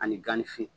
Ani gan ni fin